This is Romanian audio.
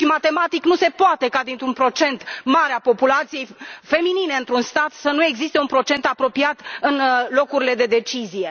matematic, nu se poate ca, dintr un procent mare al populației feminine dintr un stat, să nu existe un procent apropiat în locurile de decizie.